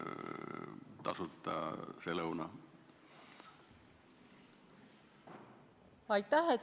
Aitäh!